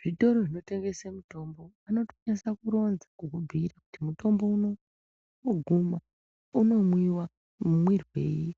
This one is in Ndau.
Zvitoro zvinotengesa mitombo zvinotokwanisa kuronza kukubhuira kuti mutombo unowu woguma unomwiwa mumwirwei.